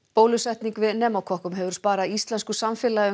bólusetning við pneumókokkum hefur sparað íslensku samfélagi